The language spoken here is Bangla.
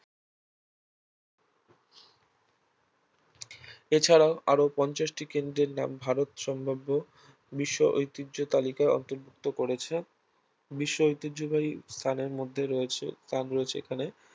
এছাড়াও আরও পঞ্চাশটি কেন্দ্রের নাম ভারত সম্ভাব্য বিশ্ব ঐতিহ্য তালিকার অন্তর্ভুক্ত করেছে বিশ্ব ঐতিহ্যবাহী স্থানের মধ্যে রয়েছে নাম রয়েছে এখানে